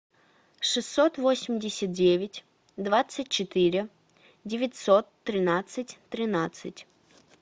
шестьсот восемьдесят девять двадцать четыре девятьсот тринадцать тринадцать